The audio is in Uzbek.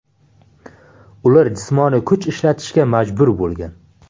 Ular jismoniy kuch ishlatishga majbur bo‘lgan.